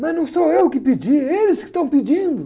Mas não sou eu que pedi, eles que estão pedindo.